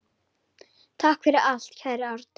Takk fyrir allt, kæri Árni.